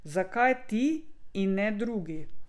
Zakaj ti, in ne drugi.